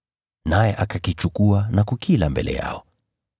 naye akakichukua na kukila mbele yao.